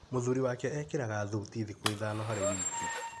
Mũthuri wake ekĩraga thuti thikũ ithano harĩ wiki.